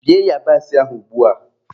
Bie yabasị ahụ ugbua!